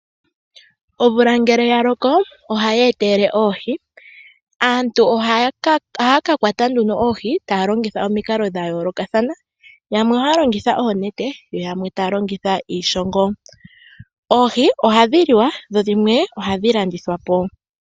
Omvula ngele ya loko ohayi etelele oohi, aantu ohaya ka kwata nduno oohi taya longitha omikalo dha yoolokathana. Yamwe ohaya longitha oonete yo yamwe taya longitha iishongo. Oohi ohadhi liwa dho dhimwe ohadhi landithwa po.